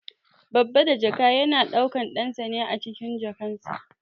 Babba da jaka yana daukan ɗansa ne acikin jakar cikinsa.